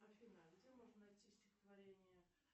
афина а где можно найти стихотворение